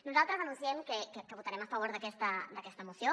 nosaltres anunciem que votarem a favor d’aquesta moció